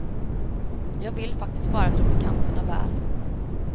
Jag vill faktiskt bara trafikanterna väl.